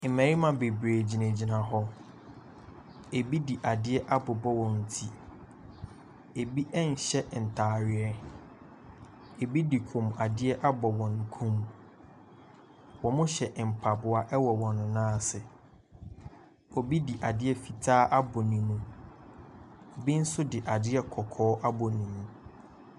Mmarima bebree gyinagyina hɔ, bi de adeɛ abobɔ wɔn ti, bi nhyɛ ntaadeɛ, bi de kɔnmuadeɛ abɔ wɔn kɔn mu. Wɔhyɛ mpaboa wɔ wɔn nan ase. Obi de adeɛ fitaa abɔ ne mu, bi nso de adeɛ kɔkɔɔ abɔ ne mu.